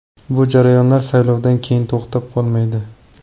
Bu jarayonlar saylovdan keyin to‘xtab qolmaydi.